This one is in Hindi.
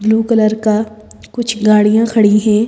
ब्लू कलर का कुछ गाड़ियां खड़ी हैं।